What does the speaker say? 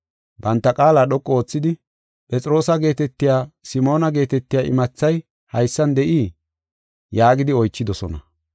Banta qaala dhoqu oothidi, “Phexroosa geetetiya Simoona geetetiya imathay haysan de7ii?” yaagidi oychidosona.